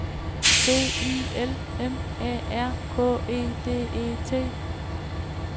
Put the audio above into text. B I L M A R K E D E T